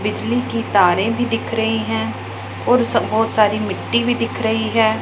बिजली के तारे भी दिख रही हैं और बहोत सारी मिट्टी भी दिख रही है।